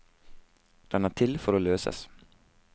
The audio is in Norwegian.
Den er til for å løses.